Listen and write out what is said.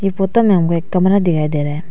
Photo में हमें एक कमरा दिखाई दे रहा है।